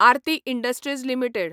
Aarti industries limited